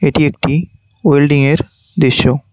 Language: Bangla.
এটি একটি ওয়েল্ডিং এর দৃশ্য।